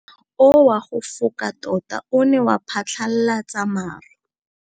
Mowa o wa go foka tota o ne wa phatlalatsa maru.